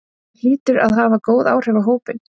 Það hlýtur að hafa góð áhrif á hópinn?